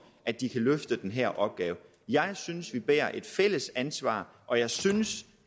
at de kan løfte den her opgave jeg synes vi bærer et fælles ansvar og jeg synes